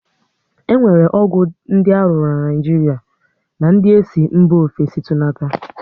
E nwere ọgwụ dị aruru na Naịjiria na ndị esi mba ofesi tunata